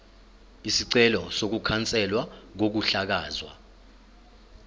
isicelo sokukhanselwa kokuhlakazwa